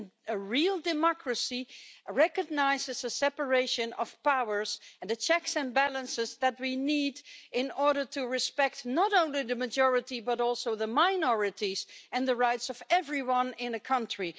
A real democracy recognises the separation of powers and the checks and balances that we need in order to respect not only the majority, but also the minorities, and the rights of everyone in a country.